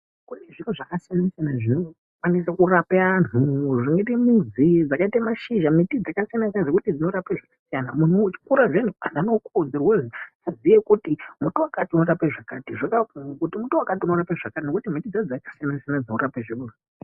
Kune zvinhu zvakasiyana siyana zvinokwanisa kurapa vantu zvakaite mudzi, zvakaite mashizha, miti dzakasiyana siyana dzinorapa zvakasiyana muntu uchikura vantu vanokuudza kuti muti wakati unorapa zvakati nokuti miti dzacho dzakasiyana siyana dzinorapa.